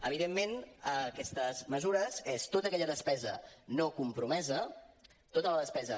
evidentment aquestes mesures és tota aquella despesa no compromesa